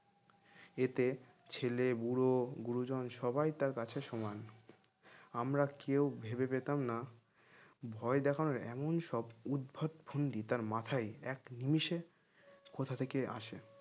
এতে ছেলে বুড়ো গুরুজন সবাই তার কাছে সমান আমরা কেউ ভেবে পেতাম না ভয় দেখানোর এমন সব উদ্ভব ফন্ডি তার মাথায় এক নিমেষে কথা থেকে আসে